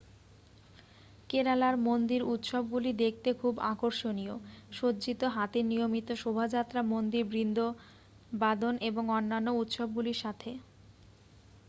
কেরালার মন্দির উত্সবগুলি দেখতে খুব আকর্ষণীয় সজ্জিত হাতির নিয়মিত শোভাযাত্রা মন্দির বৃন্দবাদন এবং অন্যান্য উত্সবগুলির সাথে